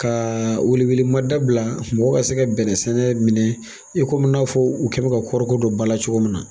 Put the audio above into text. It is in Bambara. Ka welewelemada bila mɔgɔw ka se ka bɛnɛsɛnɛ minɛ i komi n'a fɔ u kɛlen don ka kɔɔrɔko don ba la cogo min na